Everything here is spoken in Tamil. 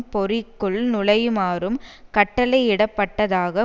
பொறிக்குள் நுழையுமாறும் கட்டளையிடப்பட்டதாக